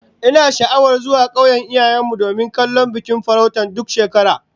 Ina sha'awar zuwa kauyen iyayen mu domin kallon bikin farauta duk shekara